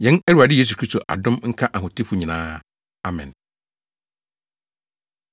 Yɛn Awurade Yesu Kristo adom nka ahotefo nyinaa. Amen.